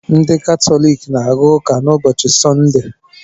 Ndị Katọlik na-aga ụka n'ụbọchị Sọnde.